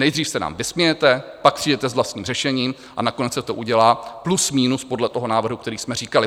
Nejdřív se nám vysmějete, pak přijdete s vlastním řešením a nakonec se to udělá plus minus podle toho návrhu, který jsme říkali.